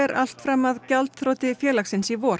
allt fram að gjaldþroti félagsins í vor